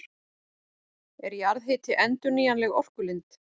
Er jarðhiti endurnýjanleg orkulind?